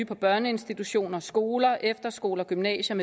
på børneinstitutioner skoler efterskoler gymnasier